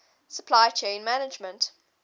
supply chain management